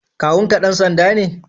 Kawun ka dan sanda ne?